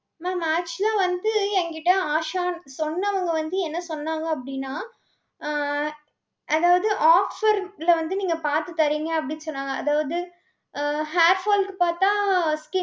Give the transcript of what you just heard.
mam, actual ஆ வந்து எங்கிட்ட ஆஷான்~ சொன்னவங்க வந்து என்ன சொன்னாங்க அப்படின்னா ஆஹ் அதாவது offer ல வந்து நீங்க பாத்து தர்றீங்க அப்படின்னு சொன்னாங்க. அதாவது அஹ் hair fall க்கு பாத்தா ski~